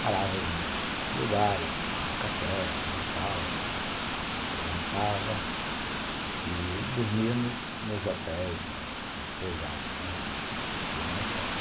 Parávamos nos lugares, tomávamos café, almoçávamos, jantávamos e dormíamos nos nos hotéis, nas pousadas, né, que existiam na estrada.